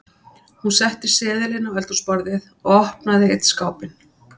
Hún setti seðilinn á eldhúsborðið og opnaði einn skápinn.